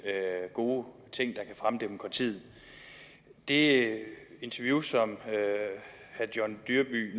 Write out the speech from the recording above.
gode ting der kan fremme demokratiet det interview som herre john dyrby